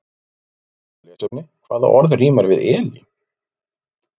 Frekara lesefni: Hvaða orð rímar við Elín?